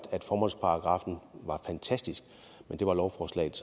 formålsparagraffen var fantastisk men det var lovforslaget